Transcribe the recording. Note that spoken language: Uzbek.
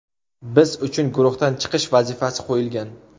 Biz uchun guruhdan chiqish vazifasi qo‘yilgan.